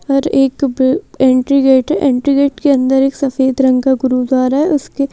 और एक entry gate है एंट्री गेट के अंदर एक सफ़ेद रंग का गुरुद्वारा है उसके--